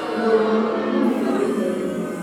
Mũrũ wa nyina nĩ amũhũrĩire thimũ